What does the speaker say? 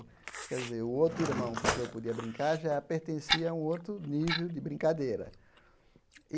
Quer dizer, o outro irmão com quem eu podia brincar já pertencia a um outro nível de brincadeira.